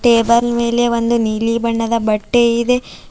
Table ಮೇಲೆ ಒಂದು ನೀಲಿ ಬಣ್ಣದ ಬಟ್ಟೆ ಇದೆ.